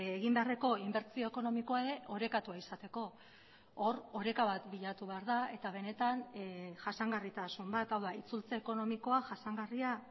egin beharreko inbertsio ekonomikoa ere orekatua izateko hor oreka bat bilatu behar da eta benetan jasangarritasun bat hau da itzultze ekonomikoa jasangarria